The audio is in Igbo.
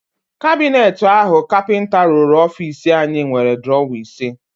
Kabineti áhụ̀ kapịnta rụrụ ofiisi anyị nwere drọwa ise.